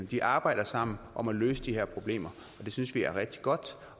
de arbejder sammen om at løse de her problemer og det synes vi er rigtig godt